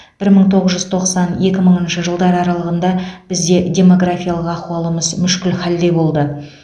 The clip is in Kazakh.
бір мың тоғыз жүз тоқсан екі мыңыншы жылдар аралығында бізде демографиялық ахуалымыз мүшкіл хәлде болды